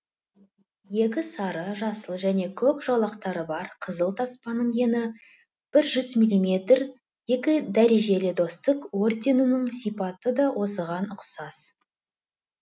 екі сары жасыл және көк жолақтары бар қызыл таспаның ені бір жүз миллиметр екі дәрежелі достық орденінің сипаты да осыған ұқсас